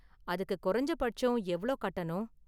அதுக்கு குறைஞ்சபட்சம் எவ்ளோ கட்டணும்?